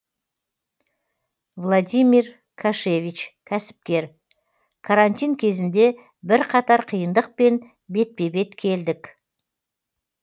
владимир кашевич кәсіпкер карантин кезінде бірқатар қиындықпен бетпе бет келдік